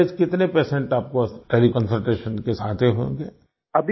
average कितने patient आपको teleconsultation case आते होंगे